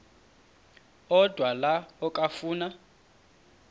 odwa la okafuna